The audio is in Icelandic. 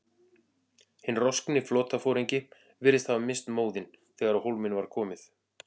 Hinn roskni flotaforingi virðist hafa misst móðinn, þegar á hólminn var komið.